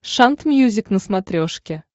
шант мьюзик на смотрешке